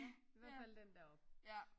Ja i hvert fald den deroppe